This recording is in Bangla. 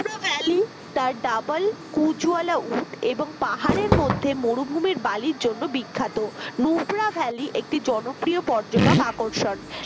ভ্যালি তার double কুঁজওলা উট এবং পাহাড়ের মধ্যে মরুভূমির বালির জন্য বিখ্যাত মোফরা valley একটি জনপ্রিয় পর্যটক আকর্ষণ